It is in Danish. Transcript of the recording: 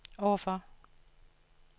overfor